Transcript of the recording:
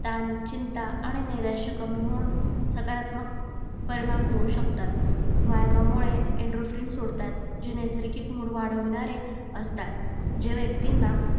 तान, चिंता आणि नैराश्य कमी होऊन सकारात्मक परिणाम होऊ शकतात. व्यायामामुळे endrofrin सोडतात. जे नैसर्गिक मूळ वाढवणारे असतात. जे व्यक्तींना